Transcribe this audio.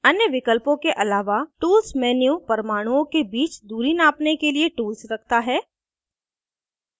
अन्य विकल्पों के आलावा tools menu परमाणुओं के बीच दूरी नापने के लिए tools रखता है